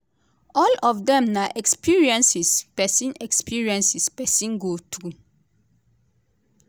"all of dem na experiences pesin experiences pesin go through.